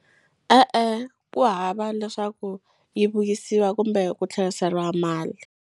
E-e, ku hava leswaku yi vuyisiwa kumbe ku tlheriseriwa mali.